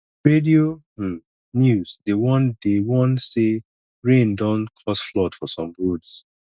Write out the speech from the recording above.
radio um news dey warn dey warn say rain don cause flood for some roads